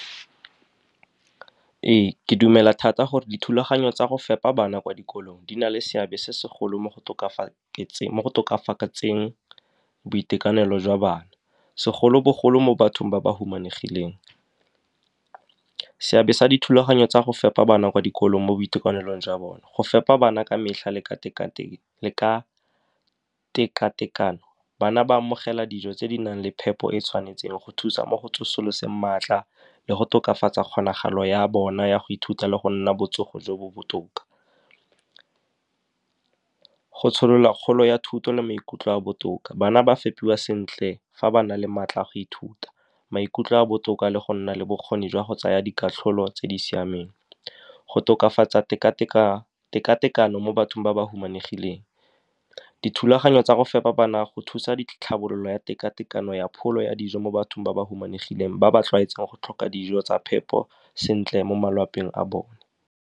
Ee, ke dumela thata gore dithulaganyo tsa go fepa bana kwa dikolong di na le seabe se segolo mo go boitekanelo jwa bana, segolobogolo mo bathong ba ba humanegileng. Seabe sa dithulaganyo tsa go fepa bana kwa dikolo mo boitekanelong jwa bone, go fepa bana ka metlha le ka tekatekano, bana ba amogela dijo tse di nang le phepo e e tshwanetseng go thusa mo go tsosoloseng maatla le go tokafatsa kgonagalo ya bona ya go ithuta le go nna botsogo jo bo botoka. Go tsholola kgolo ya thuto le maikutlo a botoka, bana ba fepiwa sentle fa ba na le maatla a go ithuta, maikutlo a a botoka, le go nna le bokgoni jwa go tsaya dikatlholo tse di siameng. Go tokafatsa tekatekano mo bathong ba ba humanegileng, dithulaganyo tsa go fepa bana go thusa ditlhabololo ya tekatekano ya pholo ya dijo mo bathong ba ba humanegileng ba ba tlwaetseng go tlhoka dijo tsa phepo sentle mo a bone.